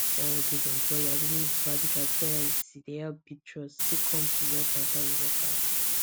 all dose employers dem wey value transparency dey help build trust still come prevent kwanta with workers